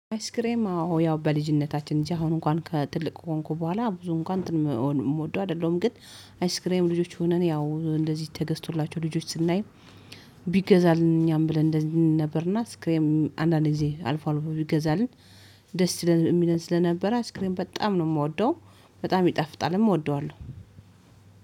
አይስክሬም አዎ ያው በልጅነታችን እንጂ አሁን እንኳን ትልቅ ከሆንኩ በኋላ ብዙ እንኳን እንትን የምወደው አይደለሁም። ግን አይስክሬም ልጆች ሆነን ያው እንደዚህ ተገዝቶላቸው ልጆች ስናይ ቢገዛልኝ ብለን እንደዚህ ነበር። እና አይስክሬም አንዳንዴ አልፏል ይገዛልን ደስ ይለን የሚለን ስለነበረ አይስክሬም በጣም ነው የምወደው በጣም ይጠፍጣልም እወደዋለሁ።